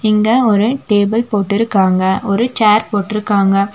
இங்க ஒரு டேபிள் போட்டிருக்காங்க ஒரு சேர் போட்ருக்காங்க.